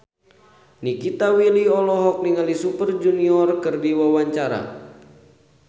Nikita Willy olohok ningali Super Junior keur diwawancara